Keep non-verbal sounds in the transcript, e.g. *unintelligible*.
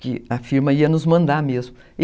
que a firma ia nos mandar mesmo. *unintelligible*